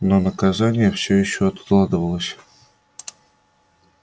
но наказание всё ещё откладывалось